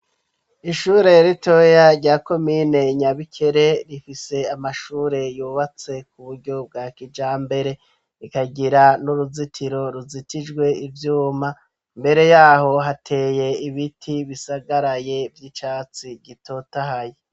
Ishure ritoya rya komine Nyabikere, rifise amashure yubatse ku buryo bwa kijambere, rikagira n'uruzitiro ruzitijwe ivyuma. Imbere yaho hateye ibiti bisagaraye vy'icatsi gitotahaye.